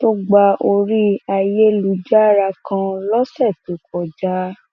tó gba orí ayélujára kan lọsẹ tó kọjá